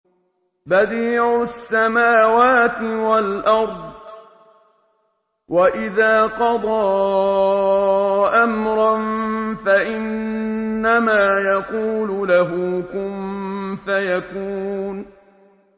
بَدِيعُ السَّمَاوَاتِ وَالْأَرْضِ ۖ وَإِذَا قَضَىٰ أَمْرًا فَإِنَّمَا يَقُولُ لَهُ كُن فَيَكُونُ